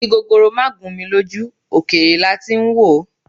Igi gogoro máà gún mi lójú, òkèèrè lati ń wòó